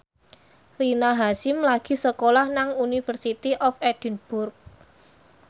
Rina Hasyim lagi sekolah nang University of Edinburgh